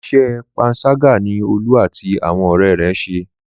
Iṣẹ́ panṣágà ni Olú àti àwọn ọ̀rẹ́ rẹ̀ ṣe.